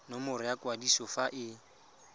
nomoro ya kwadiso fa e